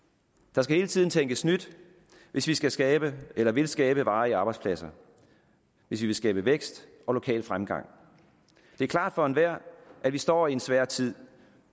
der skal hele tiden tænkes nyt hvis vi skal skabe eller vil skabe varige arbejdspladser hvis vi vil skabe vækst og lokal fremgang det er klart for enhver at vi står i en svær tid